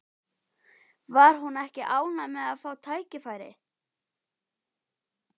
Var hún ekki ánægð með að fá tækifærið?